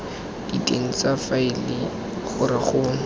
diteng tsa faele gore go